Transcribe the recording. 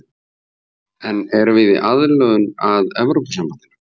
En erum við í aðlögun að Evrópusambandinu?